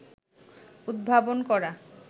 উদ্ভাবন করা